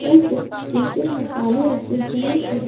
और कुछ चिकन के मसाले रखे हुए हैं।